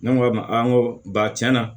Ne ko a ma n ko ba tiɲɛna